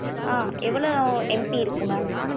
ஆஹ் எவளோ MB இருக்கும் mam